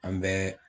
An bɛ